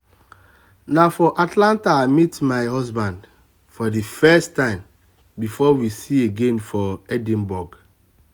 na for atlanta i meet my um husband for the first time um before um we see again for edinburgh